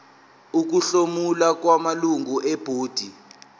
ukuhlomula kwamalungu ebhodi